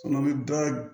Kɔnɔ bɛ